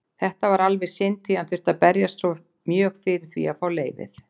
Þetta var alveg synd því hann þurfti að berjast mjög fyrir því að fá leyfið.